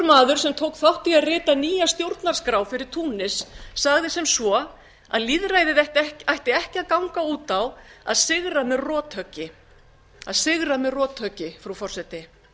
ungur maður sem tók þátt í að rita nýja stjórnarskrá fyrir túnis sagði sem svo að lýðræðið ætti ekki að ganga út á að sigra með rothöggi að sigra með rothöggi frú forseti